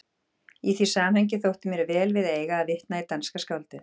Í því samhengi þótti mér vel við eiga að vitna í danska skáldið